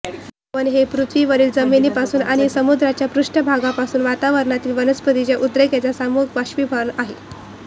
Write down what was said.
बाष्पभवन हे पृथ्वीवरील जमिनीपासून आणि समुद्राच्या पृष्ठभागापासून वातावरणातील वनस्पतींच्या उद्रेकतेचे सामूहिक बाष्पीभवन आहे